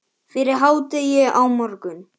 Fyrir hádegi á morgun.